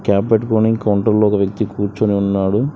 Cap పెట్టుకోని counter లో ఒక వ్యక్తి కూర్చొని ఉన్నాడు.